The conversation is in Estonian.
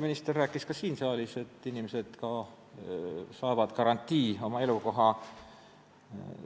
Minister rääkis siin saalis ka sellest, et inimesed saavad garantii oma elukoha